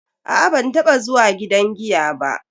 A'a ban taba zuwa gidan giya ba.